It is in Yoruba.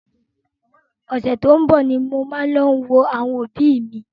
Ọ̀sẹ̀ tó ń bọ ni mo máa lọ wo àwọn òbí mi.